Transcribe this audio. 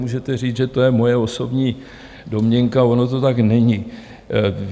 Můžete říct, že je to moje osobní domněnka, ono to tak není.